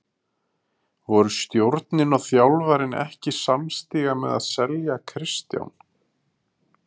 Voru stjórnin og þjálfarinn ekki samstíga með að selja Kristján?